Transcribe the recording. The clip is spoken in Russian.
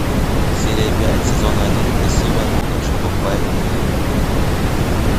серия пять сезона один красивая нуна что покупает мне еду